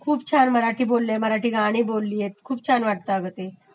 खूप छान मराठी बोललयं, मराठी गाणी बोललियत, खूप छान वाटतं अगं ते